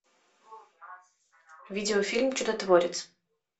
видеофильм чудотворец